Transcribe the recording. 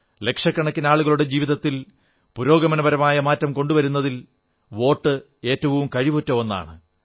ലക്ഷക്കണക്കിന് ആളുകളുടെ ജീവിതത്തിൽ പുരോഗമനപരമായ മാറ്റം കൊണ്ടുവരുന്നതിൽ വോട്ട് ഏറ്റവും കഴിവുറ്റ ഒന്നാണ്